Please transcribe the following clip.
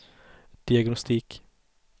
diagnostik